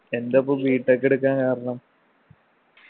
എന്തപ്പൊ B. tech എടുക്കാൻ കാരണം?